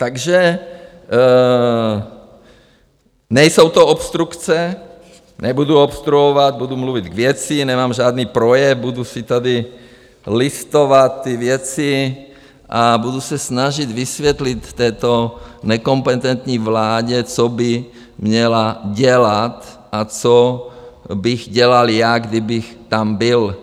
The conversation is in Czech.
Takže nejsou to obstrukce, nebudu obstruovat, budu mluvit k věci, nemám žádný projev, budu si tady listovat ty věci a budu se snažit vysvětlit této nekompetentní vládě, co by měla dělat a co bych dělal já, kdybych tam byl.